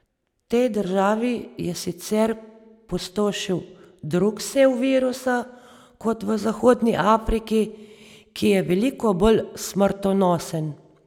V tej državi je sicer pustošil drug sev virusa kot v zahodni Afriki, ki je veliko bolj smrtonosen.